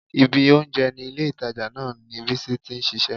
Ibi oúnjẹ ní ilé-ìtàjà náà ni Bísí ti ń ṣiṣẹ́